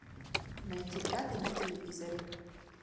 найти пятый на телевизоре